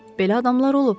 Belə adamlar olub.